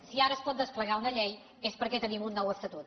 si ara es pot desplegar una llei és perquè tenim un nou estatut